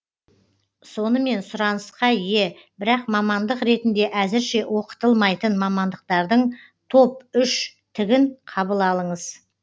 сонымен сұранысқа ие бірақ мамандық ретінде әзірше оқытылмайтын мамандықтардың топ үштігін қабыл алыңыз